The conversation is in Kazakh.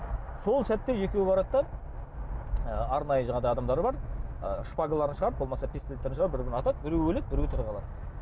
сол сәтте екеуі барады да ы арнайы жаңағыдай адамдары бар ы шпагаларын шығарып болмаса пистолеттерін шығарып бір бірін атады біреуі өледі біреуі тірі қалады